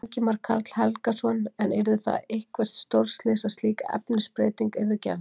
Ingimar Karl Helgason: En yrði það eitthvert stórslys að slík efnisbreyting yrði gerð?